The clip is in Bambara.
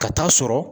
Ka taa sɔrɔ